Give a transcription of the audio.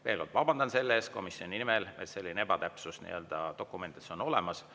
Veel kord vabandan selle eest komisjoni nimel, et selline ebatäpsus dokumentides on olemas.